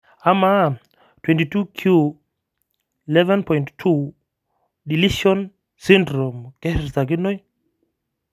amaa 22q11.2 deletion syndrome keshurtakinoi?